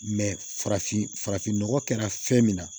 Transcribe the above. farafin farafin nɔgɔ kɛra fɛn min na